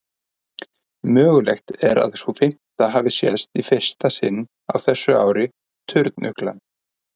Mögulegt er að sú fimmta hafi sést í fyrsta sinn á þessu ári, turnuglan.